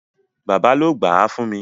Bàbá ló gbáà fún mi.